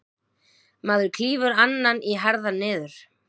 Maður klýfur annan í herðar niður.